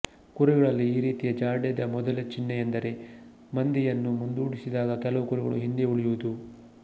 ಕುರಿಗಳಲ್ಲಿ ಈ ರೀತಿಯ ಜಾಡ್ಯದ ಮೊದಲ ಚಿಹ್ನೆಯೆಂದರೆ ಮಂದೆಯನ್ನು ಮುಂದೋಡಿಸಿದಾಗ ಕೆಲವು ಕುರಿಗಳು ಹಿಂದೆ ಉಳಿಯುವುದು